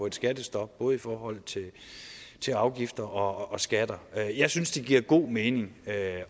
et skattestop både i forhold til afgifter og skatter jeg synes det giver god mening at